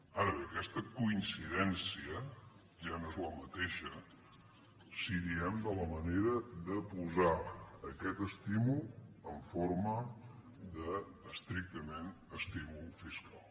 ara bé aquesta coincidència ja no és la mateixa si diem de la manera de posar aquest estímul en forma de es·trictament estímul fiscal